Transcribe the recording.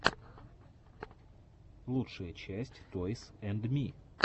лучшая часть тойс энд ми